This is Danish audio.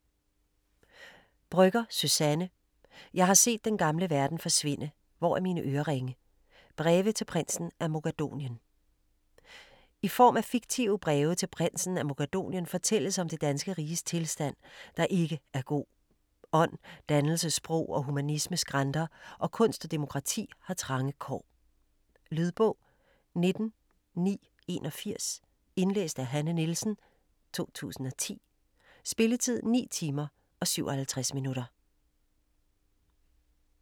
Brøgger, Suzanne: Jeg har set den gamle verden forsvinde - hvor er mine øreringe?: breve til Prinsen af Mogadonien I form af fiktive breve til Prinsen af Mogadonien fortælles om det danske riges tilstand, der ikke er god. Ånd, dannelse, sprog og humanisme skranter, og kunst og demokrati har trange kår. Lydbog 19981 Indlæst af Hanne Nielsen, 2010. Spilletid: 9 timer, 57 minutter.